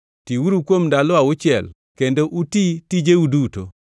Tiuru kuom ndalo auchiel kendo uti tijeu duto,